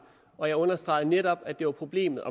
og jeg understregede netop at det var problemet